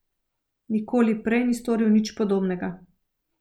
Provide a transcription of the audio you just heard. Nikoli prej ni storil nič podobnega.